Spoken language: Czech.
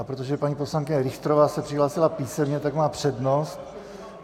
A protože paní poslankyně Richterová se přihlásila písemně, tak má přednost.